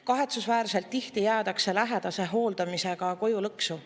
Kahetsusväärselt tihti jäädakse lähedase hooldamise tõttu koju lõksu.